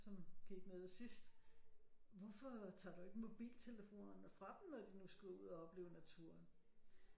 Som gik nede sidst hvorfor tager du ikke mobiltelefonerne fra dem når de nu skal ud og opleve naturen